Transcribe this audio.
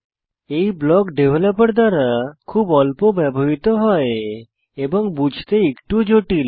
এই block developer দ্বারা খুব অল্প ব্যবহৃত হয় এবং বুঝতে একটু জটিল